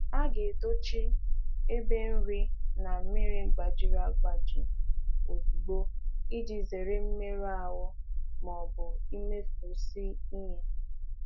A ghaghị dochie ite nri na ite mmiri mebiri ozugbo iji gbochie mmerụ maọbụ imfu nri.